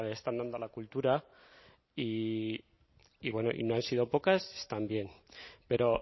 están dando a la cultura y bueno no han sido pocas también pero